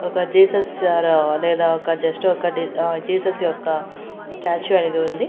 ఒక జీసస్ లేదా ఒక జస్ట్ ఒకటి జీసస్ యొక్క స్టాచ్యూ అనేది ఉంది.